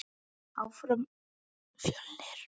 Áfram ÍR!